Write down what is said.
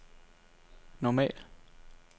normal